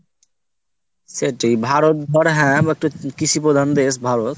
সেইটাই ভারত একটা হ্যাঁ কৃষি প্রধান দেশ ভারত।